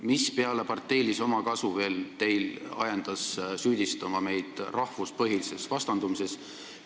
Mis peale parteilise omakasu veel ajendas teid süüdistama meid rahvuspõhises vastandumises?